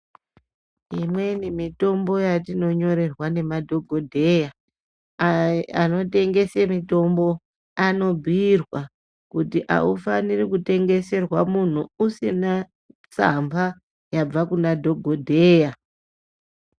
Imweni mitombo yatinonyorerwa nemadhogodheya, anotengese mitombo anobhuirwa kuti aufaniri kutengeserwa munhu usina tsamba yabva kuna dhokodheya.